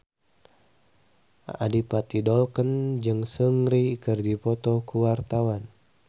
Adipati Dolken jeung Seungri keur dipoto ku wartawan